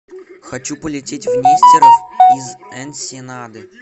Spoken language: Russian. хочу полететь в нестеров из энсенады